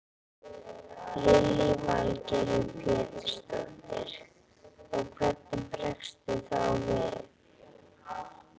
Lillý Valgerður Pétursdóttir: Og hvernig bregstu þá við?